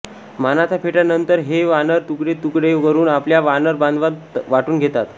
मानाचा फेटा नंतर हे वानर तुकडे तुकडे करून आपल्या वानर बांधवात वाटुन घेतात